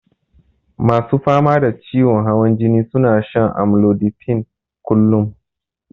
Masu fama da ciwon hawan jini suna shan amlodipine kullun.